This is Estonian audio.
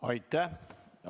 Aitäh!